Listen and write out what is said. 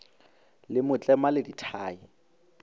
le mo tlema le dithai